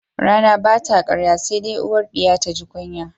Rana ba ta ƙarya se de uwar ɗiya taji kunya